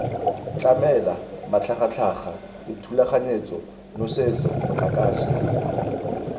tlamela matlhagatlhaga dithulaganyetso nosetso motlakase